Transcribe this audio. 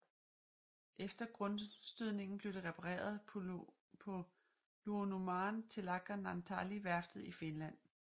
Efter grundstødningen blev det repareret på Luonnonmaan Telakka Naantali værftet i Finland